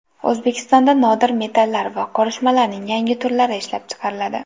O‘zbekistonda nodir metallar va qorishmalarning yangi turlari ishlab chiqariladi.